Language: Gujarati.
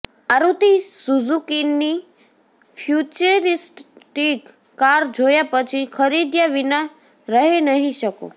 મારુતિ સુઝુકીની ફ્યુચરિસ્ટિક કાર જોયા પછી ખરીદ્યા વિના રહી નહીં શકો